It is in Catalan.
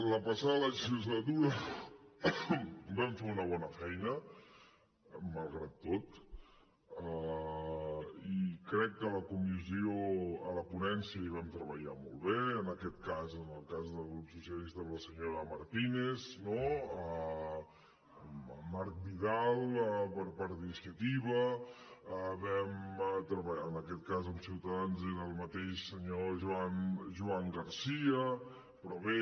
la passada legislatura vam fer una bona feina malgrat tot i crec que a la ponència hi vam treballar molt bé en aquest cas en el cas del grup socialista amb la senyora martínez amb marc vidal per part d’iniciativa en aquest cas amb ciutadans era el mateix senyor joan garcía però bé